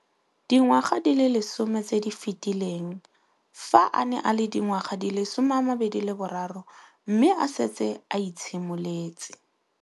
Dingwaga di le 10 tse di fetileng, fa a ne a le dingwaga di le 23 mme a setse a itshimoletse